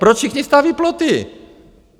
Proč všichni staví ploty?